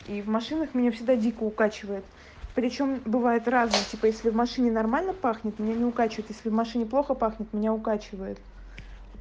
и в машинах меня всегда дико укачивает при чём бывает разного типа если в машине нормально пахнет меня не укачивает если в машине плохо пахнет меня укачивает